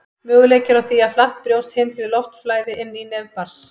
Möguleiki er á því að flatt brjóst hindri loftflæði inn í nef barns.